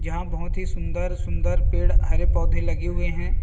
जहां बहुत ही सुंदर सुंदर पेड़ हरे पौधे लगे हुए हैं।